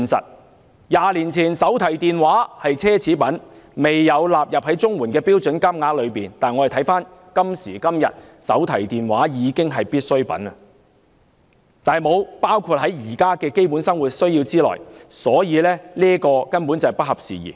在20年前，手提電話是奢侈品，未有納入綜援的標準金額之內，但時至今日手提電話已屬必需品，卻沒有包括在現時的基本生活需要之內，可見根本是不合時宜。